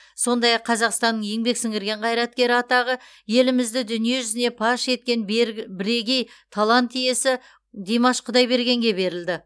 сондай ақ қазақстан еңбек сіңірген қайраткері атағы елімізді дүние жүзіне паш еткен бірегей талант иесі димаш құдайбергенге берілді